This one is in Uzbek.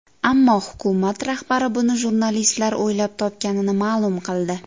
Ammo hukumat rahbari buni jurnalistlar o‘ylab topganini ma’lum qildi.